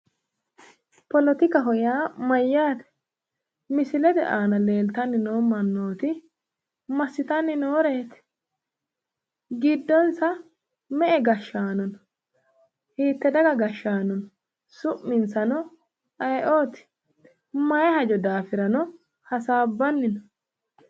Politikaho yaa mayyaate? misilete aana leeltanni nooti massitanni nooreeti? giddonsa me"e gashshano no?hite daga gashshanooti? Su'minsano ayeeoti? mayii hajo daafirano hasaabbanni no?